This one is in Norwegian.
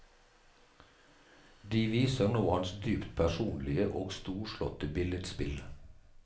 De viser nå hans dypt personlige og storslåtte billedspill.